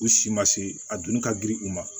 U si ma se a dun ka girin u ma